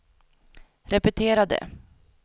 repetera det